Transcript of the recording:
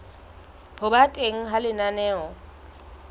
ho ba teng ha lenaneo